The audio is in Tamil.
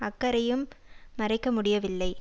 அக்கறையையும் மறைக்க முடியவில்லை